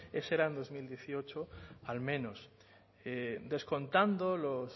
eso era en dos mil dieciocho al menos descontando los